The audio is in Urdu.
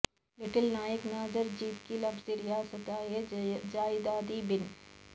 لٹل نایکا ناظر جیت کر لفظی ریاستہائے جائیداد بن